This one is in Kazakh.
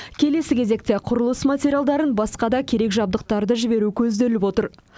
келесі кезекте құрылыс материалдарын басқа да керек жабдықтарды жіберу көзделіп отыр